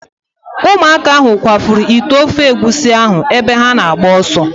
Ụmụaka ahụ kwafuru ite ofe egusi ahụ ebe ha na-agba ọsọ.